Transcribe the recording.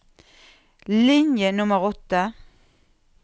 Linje nummer åtte